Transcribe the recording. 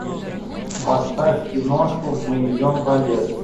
поставь киношку мы идем по лесу